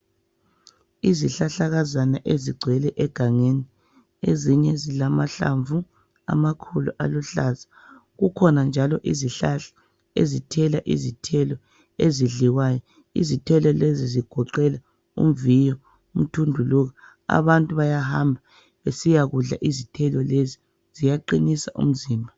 Izihlahlakazana ezigcwele egangeni. Ezinye zilamahlamvu amakhulu, aluhlaza. Kukhona njalo izihlahla ezithela izithelo ezidliwayo. Izithelo lezi zigoqela umviyo, umthunduluka. Abantu bayahamba besiyakudla izithelo lezi. Ziyaqinisa umzimba.